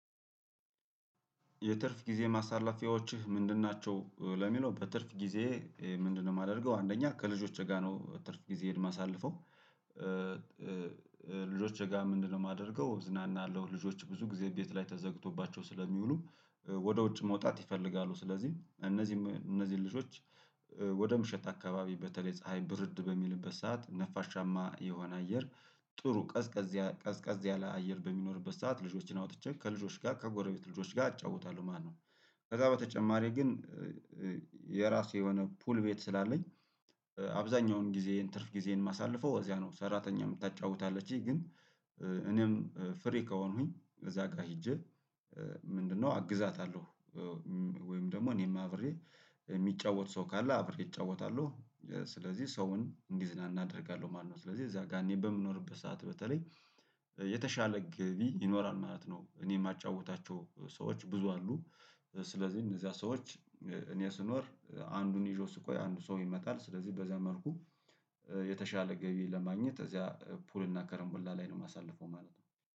"የትርፍ ጊዜ ማሳለፊያዎችህ ምንድን ናቸው?" ለሚለው በትርፍ ጊዜዬ ምንድነው የማደርገው፤ አንደኛ ከልጆቼ ጋር ነው ትርፍ ጊዜዬን ማሳለፈው። ልጆቼ ጋር ምንድነው የማደርገው እዝናናለው ልጆች ብዙ ጊዜ ቤት ላይ ተዘግቶባቸው ስለሚውሉ ወደ ውጭ መውጣት ይፈልጋሉ። ስለዚህ እነዚህ እነዚህ ልጆች ወደ ምሽት አካባቢ በተለይ ፀሀይ ብርድ በሚልበት ሰዓት ነፋሻማ የሆነ አየር ጥሩ ቀዝቀዝ ቀዝቀዝ ያለ አየር በሚኖርበት ሰዓት ልጆችን አውጥቼ ከልጆች ጋር ከጎረቤት ልጆች አጫውታለሁ ማለት ነው። ከዛ በተጨማሪ ግን የራሴ የሆነ ፑል ቤት ስላለኝ አብዛኛውን ጊዜዬን ትርፍ ጊዜዬን ማሳልፈው እዚያ ነው። ሰራተኛም ታጫውታለች ግን እኔም ፍሪ ከሆንኩኝ እዛ ጋር ሄጄ ምንድነው አግዛታለሁ ወይም ደግሞ እኔም አብሬ የሚጫወት ሰው ካለ አብሬ እጫወታለሁ። ስለዚህ ሰውን እንዲዝናና አደርጋለሁ ማለት ነው። ስለዚህ እዛ ጋር እኔ በምኖርበት ሰዓት በተለይ የተሻለ ገቢ ይኖራል ማለት ነው። እኔ የማጫውታቸው ሰዎች ብዙ አሉ። ስለዚህ እነዚያ ሰዎች እኔ ስኖር አንዱን ይዤው ስቆይ አንዱ ሰው ይመጣል። ስለዚህ በዚያ መልኩ የተሻለ ገቢ ለማግኘት እዚያ ፑል እና ከረምቡላ ላይ ነው የማሳልፈው ማለት ነው።